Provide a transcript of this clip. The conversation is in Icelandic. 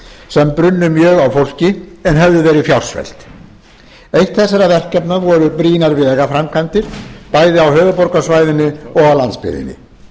sem brunnu mjög á fólki en höfðu verið fjársvelt eitt þessara verkefna voru brýnar vegaframkvæmdir bæði á höfuðborgarsvæðinu og á landsbyggðinni